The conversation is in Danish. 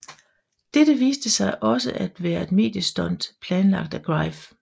Dette viste sig også at være et mediestunt planlagt af Greif